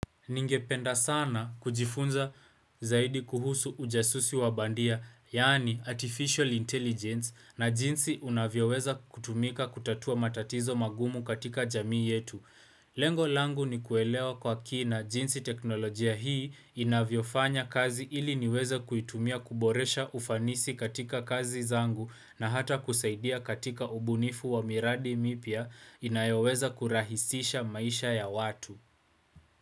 Ningependa sana kujifunza zaidi kuhusu ujasusi wabandia, yaani Artificial Intelligence na jinsi unavyoweza kutumika kutatua matatizo mangumu katika jamii yetu. Lengo langu ni kuelewa kwa kina jinsi teknolojia hii inavyofanya kazi ili niweze kuitumia kuboresha ufanisi katika kazi zangu na hata kusaidia katika ubunifu wa miradi mipya inayoweza kurahisisha maisha ya watu.